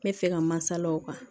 N bɛ fɛ ka masala o kan